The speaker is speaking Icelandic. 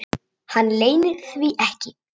Hann leynir því ekki.